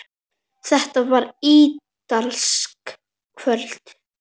Þetta var ítalskt kvöld.